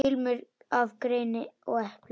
Ilmur af greni og eplum.